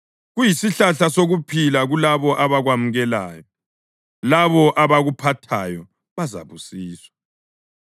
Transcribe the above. Kuyisihlahla sokuphila kulabo abakwamukelayo; labo abakuphathayo bazabusiswa.